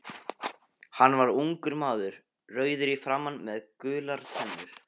Hann var ungur maður, rauður í framan með gular tennur.